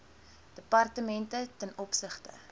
departemente ten opsigte